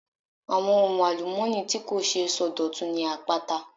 Àwọn ohun àlùmọ́ọ́nì tí kò ṣeé sọdọ̀tun ni àpáta.